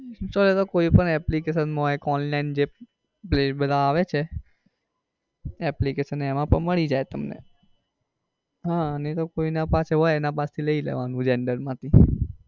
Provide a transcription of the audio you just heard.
install એતો કોઈ પણ application માં હોય કે online જે પ્લે બધા આવે છે application મળી જાય તમને આહ નઈ તો કોઈ ના પાસે હોય એના પાસે થી લઇ લેવાનું xender માંથી.